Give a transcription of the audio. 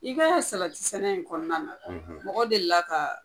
I kaa salati sɛnɛ in kɔnɔna na mɔgɔ deli kaa